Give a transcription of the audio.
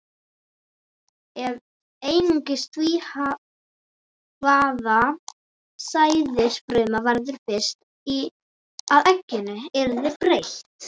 Ef einungis því, hvaða sæðisfruma verður fyrst að egginu, yrði breytt.